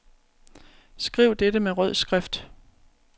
Skriv dette med rød skrift.